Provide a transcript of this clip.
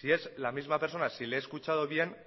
si es la misma persona si le he escuchado bien